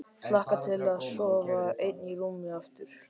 Hlakka til að sofa ein í rúmi aftur.